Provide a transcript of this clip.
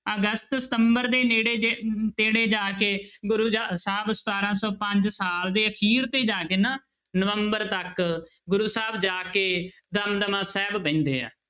ਅਗਸਤ, ਸਤੰਬਰ ਦੇ ਨੇੜੇ ਜਿਹੇ, ਨੇੜੇ ਜਾ ਕੇ ਗੁਰੂ ਜਾ ਸਾਹਿਬ ਸਤਾਰਾਂ ਸੌ ਪੰਜ ਸਾਲ ਦੇ ਅਖੀਰ ਤੇ ਜਾ ਕੇ ਨਾ ਨਵੰਬਰ ਤੱਕ ਗੁਰੂ ਸਾਹਿਬ ਜਾ ਕੇ ਦਮਦਮਾ ਸਾਹਿਬ ਬਹਿੰਦੇ ਆ-